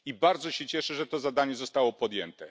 I bardzo się cieszę, że to zadanie zostało podjęte.